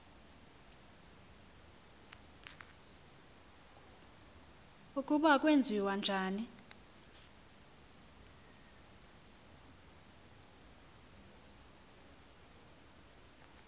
ukuba kwenziwa njani